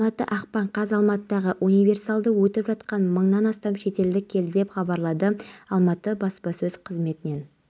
тазалық сақшыларының бұлай ашуын келтірген лесков көшесіндегі құрылысшылар болып шықты олар үй тұрғызып жатқан өздеріне тиесілі